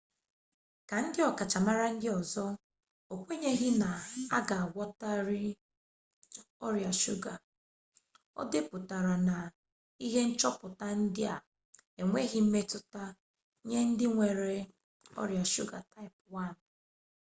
ka ndị ọkachamara ndị ọzọ o kwenyeghị na a ga agwọtanwu ọrịa shuga o depụtara na ihe nchọpụta ndị a enweghị mmetụta nye ndị nwere ọrịa shuga taịp 1